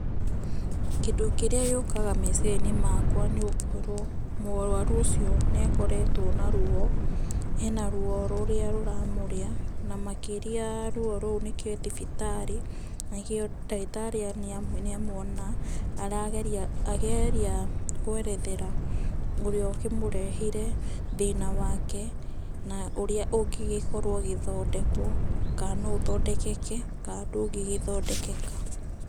Kĩndũ kĩrĩa gĩũkaga meciria-inĩ makwa nĩ gũkorwo, mũrwaru ũcio nĩ akoretwo na ruo, ena ruo rũrĩa rũra mũrĩa makĩria ruo rũu nĩkĩo e thibitarĩ, nikĩo ndagĩtarĩ nĩ amuona, arageria kwerethera ũrĩa ũkĩmũrehire thĩna wake, na ũrĩa ũngĩ gĩkorwo ũgĩthondekwo kana no ũthondekeke kana ndũngĩgĩthondekeka.